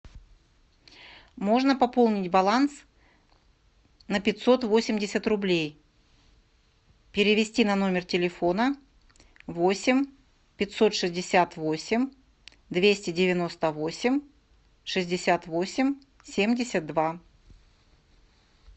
можно пополнить баланс на пятьсот восемьдесят рублей перевести на номер телефона восемь пятьсот шестьдесят восемь двести девяносто восемь шестьдесят восемь семьдесят два